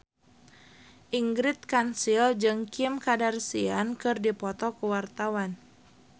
Ingrid Kansil jeung Kim Kardashian keur dipoto ku wartawan